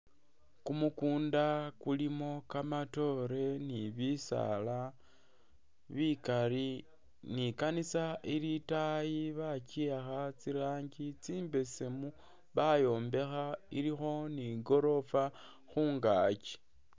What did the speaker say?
Kumukunda kulimo kamatoore ni bisaala bikaali ne ikanisa ili itaayi bakiwakha tsirangi tsimbesemu bayombekha ilikho ne igorofa khungaki.